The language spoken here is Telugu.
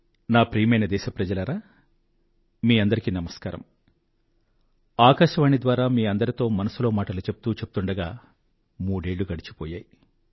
నా ప్రియమైన దేశప్రజలారా మీ అందరికీ నమస్కారం ఆకాశవాణి ద్వారా మీ అందరితో మనసులో మాటలు చెప్తూ చెప్తూండగా మూడేళ్ళు గడిచిపోయాయి